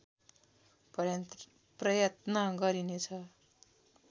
प्रयत्न गरिनेछ